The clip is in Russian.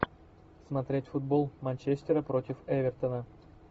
смотреть футбол манчестера против эвертона